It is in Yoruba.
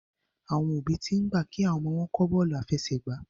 Àwọn òbí t'in gbà kí àwọn ọmọ wón kò Bọ́ọ̀lù àfẹsẹ̀gbá